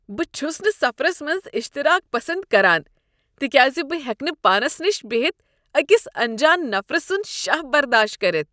بہٕ چھس نہٕ سفرس منٛز اشتراک پسند کران تکیاز بہٕ ہٮ۪کہٕ نہٕ پانس نِش بِہِتھ أکس انجان نفر سٖند شاہ برداشت کٔرتھ۔